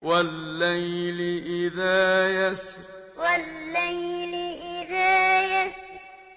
وَاللَّيْلِ إِذَا يَسْرِ وَاللَّيْلِ إِذَا يَسْرِ